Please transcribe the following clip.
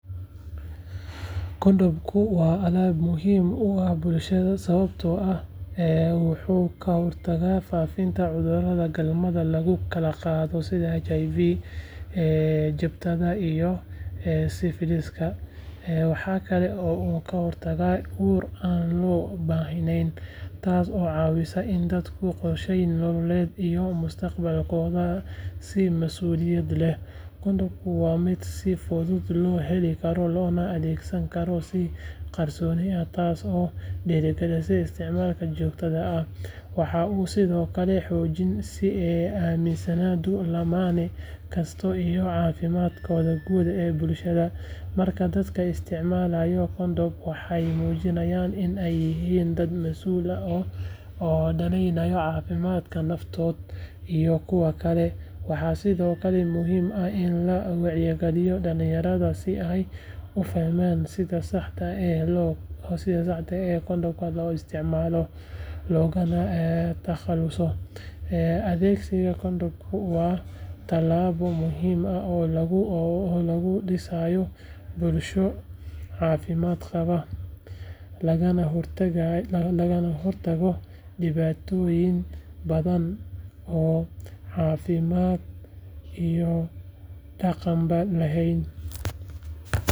Kondhomku waa aalad muhiim u ah bulshada sababtoo ah wuxuu ka hortagaa faafidda cudurrada galmada lagu kala qaado sida HIV, jabtada, iyo sifiliska. Waxa kale oo uu ka hortagaa uur aan loo baahnayn, taas oo caawisa in dadku qorsheeyaan noloshooda iyo mustaqbalkooda si mas'uuliyad leh. Kondhomku waa mid si fudud loo heli karo, loona adeegsan karo si qarsoodi ah taas oo dhiirigelisa isticmaalka joogtada ah. Waxa uu sidoo kale xoojiyaa is-aaminidda lamaane kasta iyo caafimaadka guud ee bulshada. Marka dadka isticmaalaan kondhom, waxay muujinayaan in ay yihiin dad masuul ah oo danaynaya caafimaadka naftooda iyo kuwa kale. Waxaa sidoo kale muhiim ah in la wacyigeliyo dhalinyarada si ay u fahmaan sida saxda ah ee kondhomka loo isticmaalo, loogana takhaluso. Adeegsiga kondhomka waa talaabo muhiim ah oo lagu dhisayo bulsho caafimaad qabta, lagana hortago dhibaatooyin badan oo caafimaad iyo dhaqanba leh.